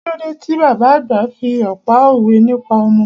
Kílódé ti bàbá àgbà fi pá òwe nípa ọmọ?